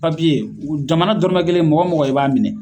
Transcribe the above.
jamana dɔrɔmɛ kelen mɔgɔ o mɔgɔ, i b'a minɛ